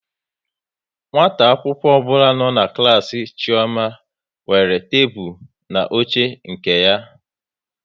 Nwata akwụkwọ ọbụla nọ n'klas Chioma nwere tebụl na oche nke ya